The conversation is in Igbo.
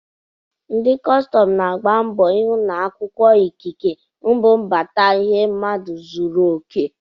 Ndị kọstọm na-agba mbọ ịhụ na akwụkwọ ikike mbubata ihe mmadụ zụrụ oke.